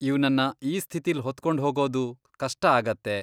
ಇವ್ನನ್ನ ಈ ಸ್ಥಿತಿಲ್ ಹೊತ್ಕೊಂಡ್ಹೋಗೋದು ಕಷ್ಟ ಆಗತ್ತೆ.